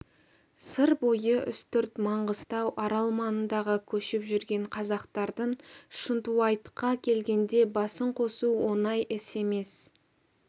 сыр бойы үстірт маңғыстау арал маңындағы көшіп жүрген қазақтардың шынтуайтқа келгенде басын қосу оңай іс емес